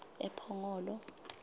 ephongolo